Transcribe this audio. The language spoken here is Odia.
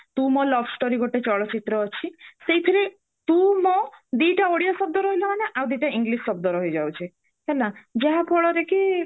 ତୁ ମୋ love story ଗୋଟେ ଚଳଚିତ୍ର ଅଛି ସେଇଥିରେ ତୁ ମୋ ଦିଟା ଓଡିଆ ଶବ୍ଦ ରହିଲା ମାନେ ଆଉ ଦିଟା english ଶବ୍ଦ ରହିଯାଉଛି ଯାହା ଫଳରେ କି